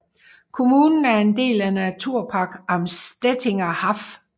Kommunen er en del af Naturpark Am Stettiner Haff